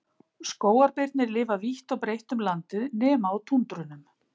Skógarbirnir lifa vítt og breytt um landið nema á túndrunum.